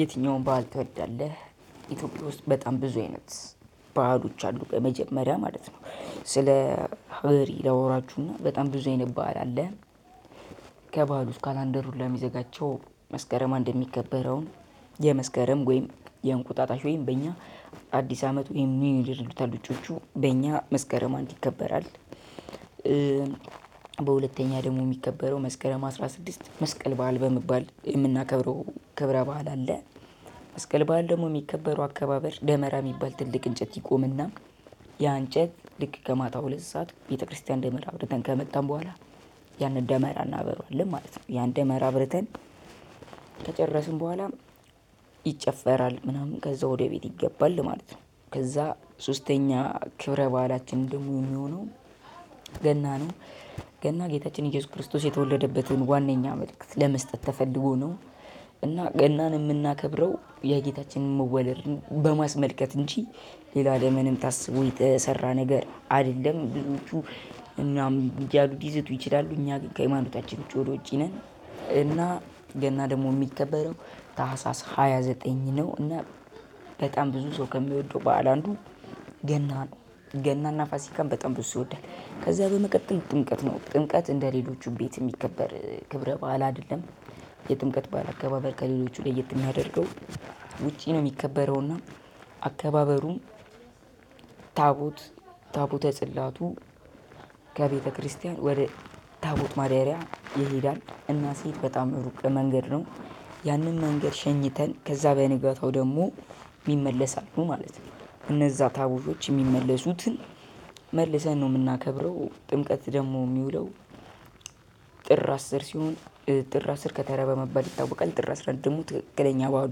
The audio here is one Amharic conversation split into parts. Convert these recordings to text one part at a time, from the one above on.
የትኛውን ባህል ትወዳለህ? ኢትዮጵያ ውስጥ በጣም ብዙ አይነት ባህሎች አሉ፤ በመጀመሪያ ማለት ነው። ስለ ሀገሬ ላወራችሁ እና በጣም ብዙ አይነት ባህል አለ። ከባህል ውስጥ ካላንደር ሁላ የሚዘጋቸው፣ መስከረም እንድ የሚከበረውን የመስከረም ወይም የእንቁጣጣሽ ወይም በእኛ አዲስ አመት ወይም ኒው-ይር ይሉታል ውጪዎቹ። በእኛ መስከረም አንድ ይከበራል። በሁለተኛ ደግሞ የሚከበረው መስከረም አስራ ስድስት መስቀል በዓል በመባል የምናከብረው ክብረ በዓል አለ። መስቀል በዓል ደግሞ የሚከበረው አካባበር፣ ደመራ የሚባል ትልቅ እንጨት ይቆም እና ያ እንጨት ልክ ከማታ ሁለት ሰዓት ቤተክርስቲያን ደመራ አብረተን ከመጣን በኋላ፣ ያንን ደመራ እናበረዋለን ማለት ነው። ያን ደመራ አብርተን ከጨረስን በኋላ፣ ይጨፈራል ምናምን ከዛ ወደ ቤት ይገባል ማለት ነው። ከዛ ሶስተኛ ክብረ ባህላችን ደግሞ የሚሆነው፣ ገና ነው። ገና ጌታችን ኢየሱስ ክርስቶስ የተወለደበትን ዋናኛ መልእክት ለመስጠት ተፈልጎ ነው። እና ገናን የምናከብረው የጌታችንን መወለድን በማስመልከት እንጂ፣ ሌላ ለምንም ታስቦ የተሰራ ነገር አይደለም። ብዙዎቹ እኛም እያሉ ይችላሉ ይችላሉ፤ እኛ ግን ከሃይማኖታችን ውጪ ወደ ውጪ ነን። እና ገና ደግሞ የሚከበረው ታህሳስ ሃያ ዘጠኝ ነው። እና በጣም ብዙ ሰው ከሚወደው በዓል አንዱ ገና ነው። ገና እና ፋሲካን በጣም ብዙ ሰው ይወዳል። ከዚያ በመቀጠል ጥምቀት ነው፤ ጥምቀት እንደ ሌሎቹ በቤት የሚከበር ክብረ በዓል አይደለም። የጥምቀት በዓል አከባበር ከሌሎቹ ለየት የሚያደርገው ውጪ ነው የሚከበረው እና፣ አከባበሩም ታቦት፣ ታቦተ ጽላቱ ከቤተክርስቲያን ወደ ታቦት ማደሪያ ይሄዳል፣ እና ሲሄድ በጣም ሩቅ መንገድ ነው። ያንን መንገድ ሸኝተን ከዛ በንጋታው ደግሞ ይመለሳሉ ማለት ነው። እነዛ ታቦቶች የሚመለሱትን መልሰን ነው የምናከብረው፣ ጥምቀት ደግሞ የሚውለው ጥር አስር ሲሆን ጥር አስር ከተራ በመባል ይታወቃል። ጥር አስራ አንድ ደግሞ ትክክለኛ በዓሉ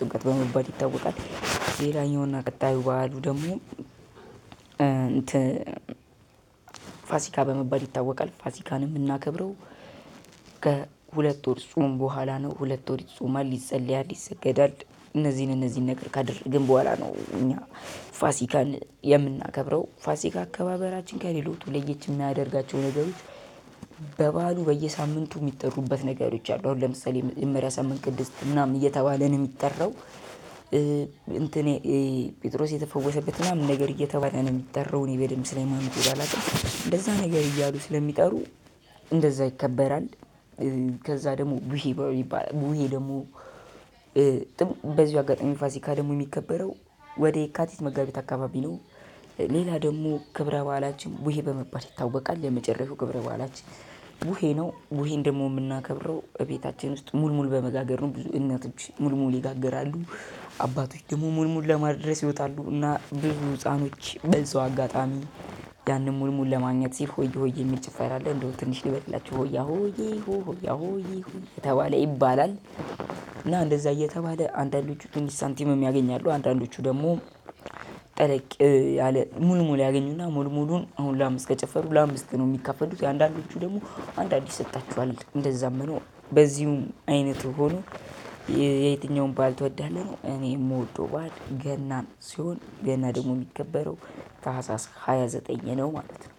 ጥምቀት በመባል ይታወቃል። ሌላኛው እና ቀጣዩ በዓሉ ደግሞ፣ እንትን ፋሲካ በመባል ይታወቃል። ፋሲካንም የምናከብረው፣ ከሁለት ወር ጾም በኋላ ነው። ሁለት ወር ይጾማል ይፀለያል ይሰገዳል፣ እነዚህን እነዚህን ነገር ካደረግን በኋላ ነው እኛ ፋሲካን የምናከብረው። ፋሲካ አከባበራችን ከሌሎቹ ለየት የሚያደርጋቸው ነገሮች፣ በበዓሉ በየሳምንቱ የሚጠሩበት ነገሮች አሉ። አሁን ለምሳሌ መጀመሪያ ሳምንት ቅድስት ምናምን እየተባለ ነው የሚጠራው። እንትን ጴጥሮስ የተፈወሰበት ምናምን ነገር እየተባለ ነው የሚጠራው እኔ በደንብ ስለ ሀይማኖቴ ባላውቅም። እንደዛ ነገር እያሉ ስለሚጠሩ፣ እንደዛ ይከበራል። ከዛ ደግሞ ቡሄ በሉ ይባላል። ቡሄ ደግሞ፣ በዚው አጋጣሚ ፋሲካ ደግሞ የሚከበረው፣ ወደ የካቲት መጋቢት አካባቢ ነው። ሌላ ደግሞ ክብረ በዓላችን፣ ቡሄ በመባል ይታወቃል። የመጨረሻው ክብረ በዓላችን ቡሄ ነው። ቡሄ ደግሞ የምናከብረው ቤታችን ውስጥ ሙልሙል በመጋገር ነው። እናቶች ሙልሙል ይጋግራሉ። አባቶች ደግሞ ሙልሙል ለማድረስ ይወጣሉ። እና ብዙ ህፃናቶች በዚያው አጋጣሚ፣ ያንን ሙልሙል ለማግኘት ሲል ሆያ ሆዬ የሚል ጭፈራ አለ፣ እንደውም ትንሽ ልበልላችሁ፦ "ሆያ ሆዬ ሆ ሆያ ሆዬ ሆ" እየተባለ ይባላል። እና እንደዚያ እየተባለ አንዳንዶቹ ትንሽ ሳንቲምም ያገኛሉ፣ አንዳንዶቹ ደግሞ፣ ጠለቅ ያለ ሙልሙል ያገኙ እና ሙልሙሉን አሁን ለአምስት ከጨፈሩ ለአምስት ነው የሚካፈሉት። የአንዳንዶቹ ደግሞ አንድ አንድ ይሰጣቸዋል እንደዛም ሆኖ። በዚሁም አይነት ሆኖ የትኛውን በዓል ትወዳለህ? ነው። እኔ የምወደው በዓል ገናን ሲሆን ገና ደግሞ የሚከበረው ታህሳስ ሃያ ዘጠኝ ነው ማለት ነው።